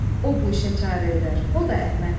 O bu işə çarə edər, o da Əhməddir.